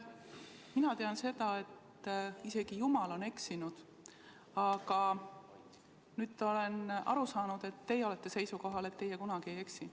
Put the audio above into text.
Mina tean seda, et isegi jumal on eksinud, aga nüüd olen aru saanud, et teie olete seisukohal, et teie kunagi ei eksi.